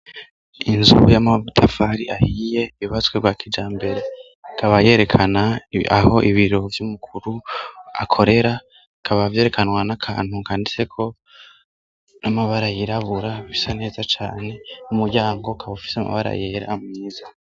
Inzu y'amabutafari ahiye yubatswe bwa kijambere kabayerekanaho ibiro by'umukuru akorera kababyerekanwa n'akantu kandise ko n'amabara yirabura bisa neza cyane mumuryango kaba ufise amabara yera myiza.